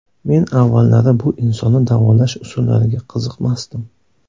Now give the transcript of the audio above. Men avvallari bu insonni davolash usullariga qiziqmasdim.